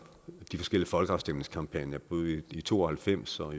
de forskellige folkeafstemningskampagner både nitten to og halvfems og